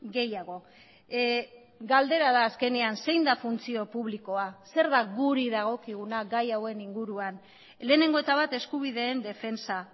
gehiago galdera da azkenean zein da funtzio publikoa zer da guri dagokiguna gai hauen inguruan lehenengo eta bat eskubideen defentsa